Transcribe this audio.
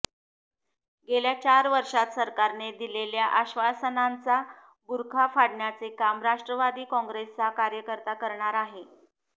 गेल्या चार वर्षांत सरकारने दिलेल्या आश्वासनांचा बुरखा फाडण्याचे काम राष्ट्रवादी काँग्रेसचा कार्यकर्ता करणार आहे